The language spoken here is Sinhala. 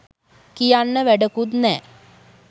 කියන්න වැඩකුත් නෑ